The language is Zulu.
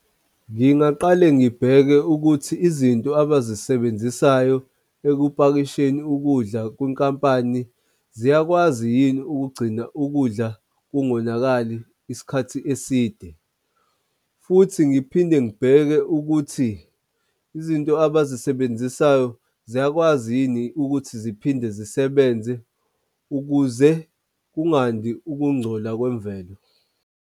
Ngingaqale ngibheke ukuthi izinto abazisebenzisayo ekupakisheni ukudla kwinkampani ziyakwazi yini ukugcina ukudla kungonakali isikhathi eside. Futhi ngiphinde ngibheke ukuthi izinto abazisebenzisayo ziyakwazi yini ukuthi ziphinde zisebenze ukuze kungandi ukungcola kwemvelo.